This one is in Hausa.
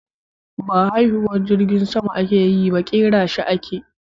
Ba haiwuhar jirgin sama ake yi ba, kera shi ake.